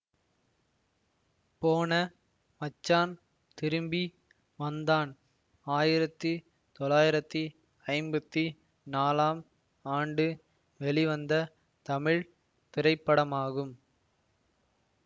போன மச்சான் திரும்பி வந்தான் ஆயிரத்தி தொளாயிரத்தி ஐம்பத்தி நாலாம் ஆண்டு வெளிவந்த தமிழ் திரைப்படமாகும்